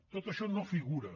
tot això no figura